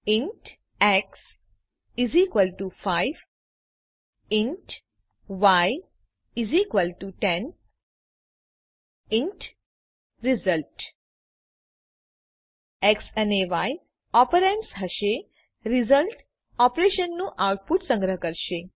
int x 5 int y 10 int result x અને y operands હશે result ઓપરેશનનું output સંગ્રહ કરશે